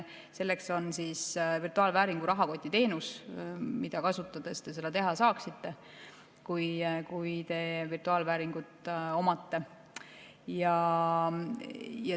Selleks on virtuaalvääringu rahakotiteenus, mida kasutades te seda teha saaksite, kui te virtuaalvääringuid omate.